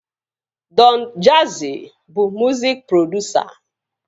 Dọn Jazzi bụ mụzik produsa